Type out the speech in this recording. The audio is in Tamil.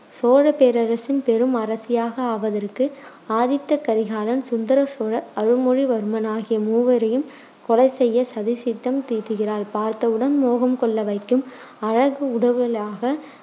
சோழ பேரரசின் பெரும் அரசியாக ஆவதற்கு ஆதித்த கரிகாலன், சுந்தர சோழர், அருள்மொழி வர்மன் ஆகிய மூவரையும் கொலை செய்ய சதி திட்டம் தீட்டுகிறாள். பார்த்தவுடன் மோகம் கொள்ள வைக்கும் அழகுடையவளாக